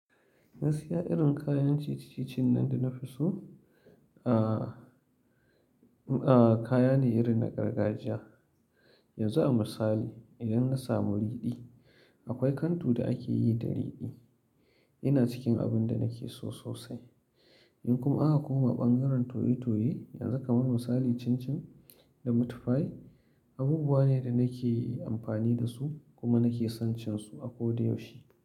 Na siya irin kayan titicin nan da na fi so. Aaa kaya ne irin na gargajiya. Yanzu a misali idan na samu riɗi, akwai kantu da ake yi da riɗi. Ina cikin abun da nake so sosai. In kuma aka koma ɓangaren toye-toye, yanzu kaman misali cin-cin da meatpie abubuwa ne da nake amfani dasu kuma nake son cin su a koda yaushe.